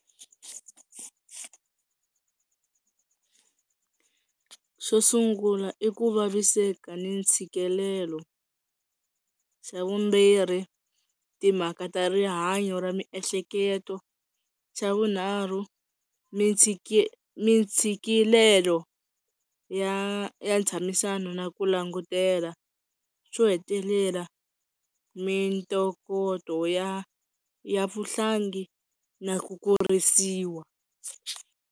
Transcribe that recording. Xo sungula i ku vaviseka ni ntshikelelo, xa vumbirhi timhaka ta rihanyo ra miehleketo, xa vunharhu mintshikelelo ya ya ntshamisano na ku langutela, swo hetelela mintokoto ya ya vuhlangi na ku kurisiwa.